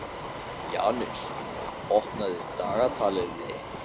Janus, opnaðu dagatalið mitt.